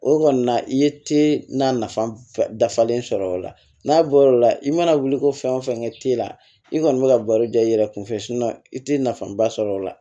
O kɔni na i ye te na nafa dafalen sɔrɔ o la n'a bɔla i mana wuli ko fɛn o fɛn kɛ te la i kɔni bɛ ka baro da i yɛrɛ kun fɛ i tɛ nafa ba sɔrɔ o la